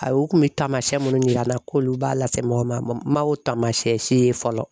Ayi u kun bɛ taamasiyɛn minnu yir'a la k'olu b'a lase mɔgɔ ma o tamasiyɛn se ye fɔlɔ.